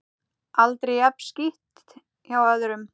Aldrei jafn skítt hjá öðrum.